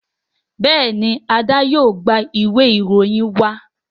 Béèni Ade yóò gbà Ìwé ìròyìn wa.